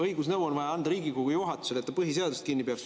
Õigusnõu on vaja anda Riigikogu juhatusele, et ta põhiseadusest kinni peaks.